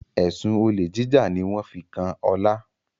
Ẹsùn Olè jíjà ní wón fí kán Ola